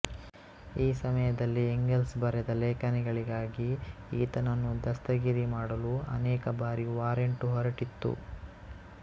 ಈ ಸಮಯದಲ್ಲಿ ಎಂಗೆಲ್ಸ್ ಬರೆದ ಲೇಖನಗಳಿಗಾಗಿ ಈತನನ್ನು ದಸ್ತಗಿರಿಮಾಡಲು ಅನೇಕ ಬಾರಿ ವಾರೆಂಟು ಹೊರಟಿತ್ತು